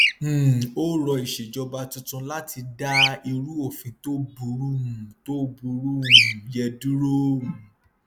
um ó rọ ìṣèjọba tuntun láti dá irú òfin tó burú um tó burú um yẹn dúró um